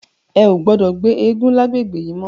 È ó gbòdò gbé égùn làgbégbé yi mò